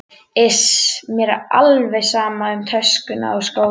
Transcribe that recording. Iss, mér er alveg sama um töskuna og skólann